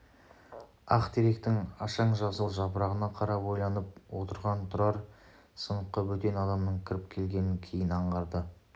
ақтеректің ашаң жасыл жапырағына қарап ойланып отырған тұрар сыныпқа бөтен адамның кіріп келгенін кейін аңғарды